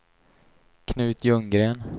Knut Ljunggren